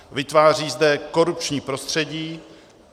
Vytváří zde korupční prostředí.